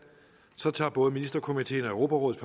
tager både ministerkomiteen og europarådets